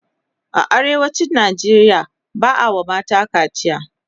a arewacin Nigeria ba'a Yi wa mata kaciya